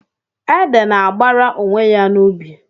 Ede na-agbara onwe ya n'ubi.